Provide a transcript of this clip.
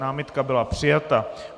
Námitka byla přijata.